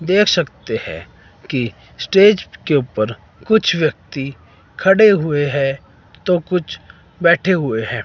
देख सकते है कि स्टेज के ऊपर कुछ व्यक्ति खड़े हुए है तो कुछ बैठे हुए है।